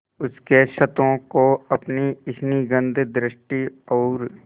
उसके क्षतों को अपनी स्निग्ध दृष्टि और